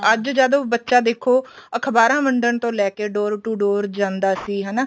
ਅੱਜ ਜਦ ਬੱਚਾ ਦੇਖੋ ਅਖਬਾਰਾ ਵੰਡਣ ਤੋਂ ਲੈਕੇ door to door ਜਾਂਦਾ ਸੀ ਹਨਾ